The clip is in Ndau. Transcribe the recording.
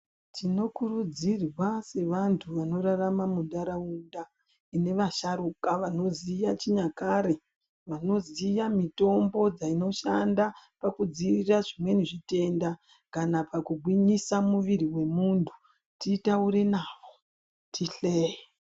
Tinokurudzirwa sevantu vanorarama munharaunda mune vasharuka vanoziya chinyakare. Vanoziya mutombo dzinoshanda pakudzivirira zvimweni zvitenda kana pakugwinyisa muviri wemuntu. Titaure navo, tihleye.